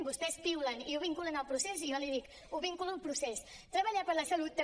vostès piulen i ho vinculen al procés i jo li dic ho vinculo al procés treballar per la salut també